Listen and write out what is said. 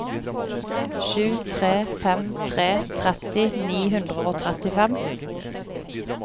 sju tre fem tre tretti ni hundre og trettifem